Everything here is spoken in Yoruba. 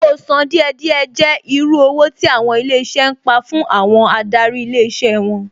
Owó sán díẹ̀ díẹ̀ jẹ́ irú owó tí àwọn ilé iṣẹ́ ń pa fún àwọn adarí ilé iṣẹ́ wọn